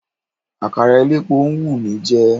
Àkàrà elépo ń wù mí jẹ.